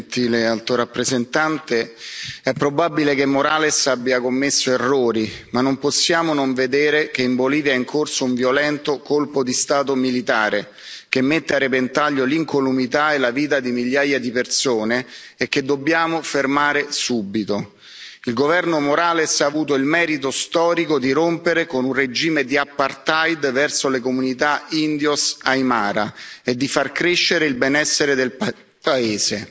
Signora Presidente, onorevoli colleghi, gentile Alto rappresentante, è probabile che Morales abbia commesso errori, ma non possiamo non vedere che in Bolivia è in corso un violento colpo di Stato militare che mette a repentaglio l'incolumità e la vita di migliaia di persone e che dobbiamo fermare subito. Il governo Morales ha avuto il merito storico di rompere con un regime di apartheid verso le comunità indios Aymara e di far crescere il benessere del paese.